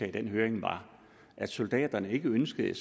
i den høring var at soldaterne ikke ønskede